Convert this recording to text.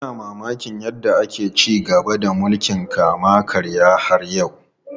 Muna mamakin yadda ake ci gaba da mulkin kama karya har yau.